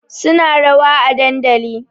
Suna rawa a dandali